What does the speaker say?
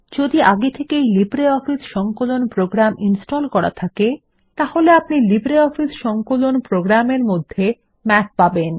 যদি আগে থেকেই লিব্রিঅফিস সংকলন প্রোগ্রাম ইনস্টল করা থাকে তাহলে আপনি লিব্রিঅফিস সংকলনের প্রোগ্রাম এর মধ্যে মাথ পাবেন